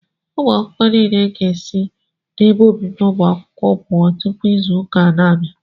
Ụmụ akwụkwọ nile ga-esi n'ebe obibi ụmụ akwụkwọ pụọ tụpụ izu ụka na-abịa